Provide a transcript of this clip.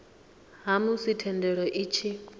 ha musi thendelo i tshi